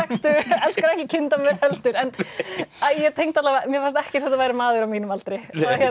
elskar ekki heldur en mér fannst ekki eins og þetta væri maður á mínum aldri